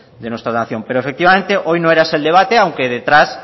de nuestra nación pero efectivamente hoy no era ese el debate aunque detrás